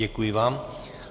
Děkuji vám.